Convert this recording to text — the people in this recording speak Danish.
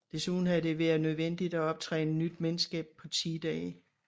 Desuden havde det været nødvendigt at optræne nyt mandskab på 10 dage